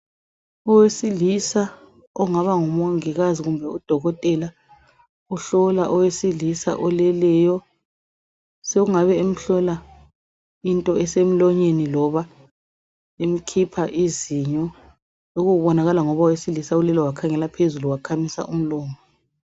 Owesilisa ongaba ngumongikazi kumbe udokotela uhlola owesilisa oleleyo sokungabe emhlola into esemlonyeni loba emkhipha izinyo lokhu ukubonakala ngoba owesilisa ulele wakhangela phezulu